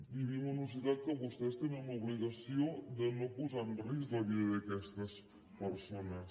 vivim en una societat en què vostès tenen l’obligació de no posar en risc la vida d’aquestes persones